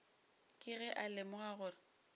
ke ge a lemoga gore